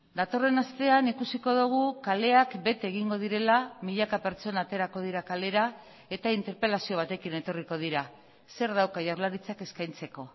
datorren astean ikusiko dugu kaleak bete egingo direla milaka pertsona aterako dira kalera eta interpelazio batekin etorriko dira zer dauka jaurlaritzak eskaintzeko